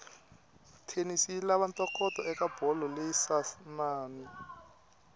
tennis yilava ntokoto ekabholo leyinsanani